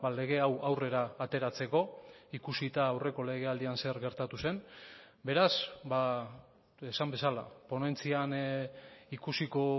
lege hau aurrera ateratzeko ikusita aurreko legealdian zer gertatu zen beraz esan bezala ponentzian ikusiko